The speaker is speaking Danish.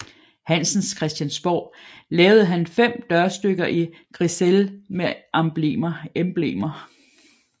Hansens Christiansborg lavede han fem dørstykker i grisaille med emblemer